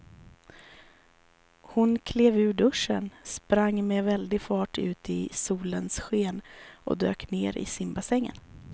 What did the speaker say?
Hon klev ur duschen, sprang med väldig fart ut i solens sken och dök ner i simbassängen.